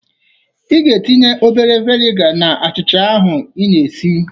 Ị ga-etinye obere veniga na achịcha ahụ i na-esi.